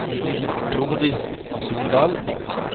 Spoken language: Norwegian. Tordis Sundal